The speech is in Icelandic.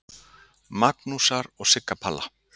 Magnúsar og Sigga Palla.